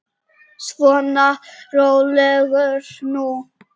Svona, rólegur nú.